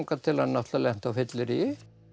til hann lenti á fylleríi